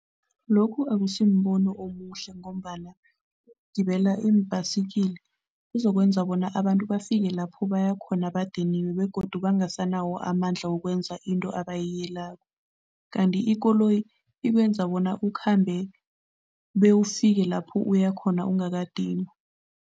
Lokhu akusimbono omuhle ngombana ukugibela iim-bicycle kuzokwenza bona abantu bafike lapho baya khona badiniwe begodu bangasanawo amandla wokwenza into abayiyelako kanti ikoloyi ikwenza bona ukhambe bewufike lapho uyakhona ungakadinwa.